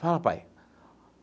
Fala, pai.